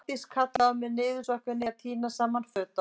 Arndís kallaði á mig, niðursokkin í að tína saman föt á okkur.